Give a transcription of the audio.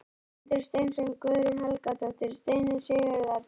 Guðmundur Steinsson, Guðrún Helgadóttir, Steinunn Sigurðardóttir